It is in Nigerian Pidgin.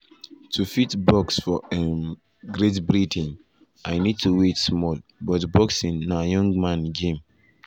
"to fit box for um great britain i need to wait small but boxing na young man game